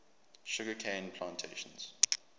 sugar cane plantations